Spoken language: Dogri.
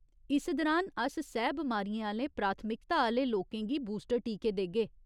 इस दुरान अस सैह् बमारियें आह्‌ले प्राथमिकता आह्‌ले लोकें गी बूस्टर टीके देगे।